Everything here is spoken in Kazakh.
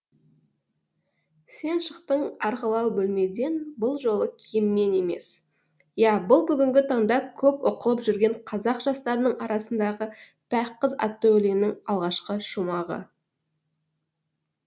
сен шықтың арғылау бөлмеден бұл жолы киіммен емес иә бұл бүгінгі таңда көп оқылып жүрген қазақ жастарының арасындағы пәк қыз атты өлеңнің алғашқы шумағы